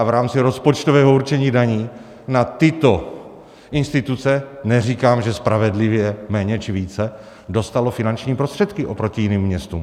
A v rámci rozpočtového určení daní na tyto instituce, neříkám, že spravedlivě, méně či více dostalo finanční prostředky oproti jiným městům.